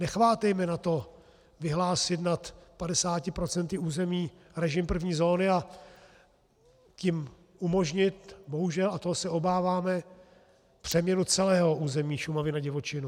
Nechvátejme na to vyhlásit nad 50 % území režim první zóny, a tím umožnit, bohužel, a toho se obáváme, přeměny celého území Šumavy na divočinu.